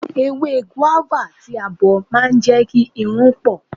Ewé gúávà tí a bọ̀ ma ń jẹ́ kí irun pọ̀.